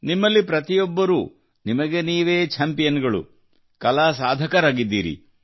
ನಿಮ್ಮಲ್ಲಿ ಪ್ರತಿಯೊಬ್ಬರೂ ನಿಮಗೆ ನೀವೇ ಛಾಂಪಿಯನ್ ಗಳು ಕಲಾ ಸಾಧಕರಾಗಿದ್ದೀರಿ